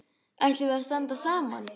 Ætlum við að standa saman?